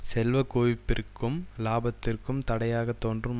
செல்வ குவிப்பிற்கும் இலாபத்திற்கும் தடையாக தோன்றும்